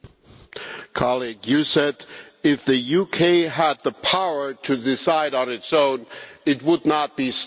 You said that if the UK had the power to decide on its own, it would not be stopped by the other